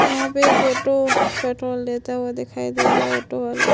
यहाँ पे एक ऑटो पेट्रोल लेता हुआ दिखाई दे रहा है। ऑटो वाला --